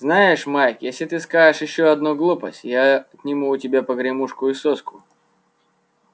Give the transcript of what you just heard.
знаешь майк если ты скажешь ещё одну глупость я отниму у тебя погремушку и соску